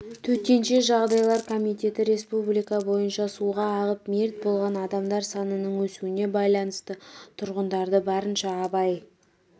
төтенше жағдайлар комитеті республика бойынша суға ағып мерт болған адамдар санының өсуіне байланысты тұрғындарды барынша абай